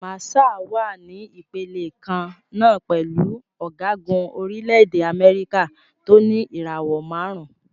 Màṣáà wà ní ìpele kan náà pẹ̀lú ọ̀gágun orílẹ̀-èdè Amẹ́ríkà tó ní ìràwò márùn-ún.